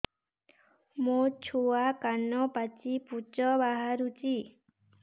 ମୋ ଛୁଆ କାନ ପାଚି ପୂଜ ବାହାରୁଚି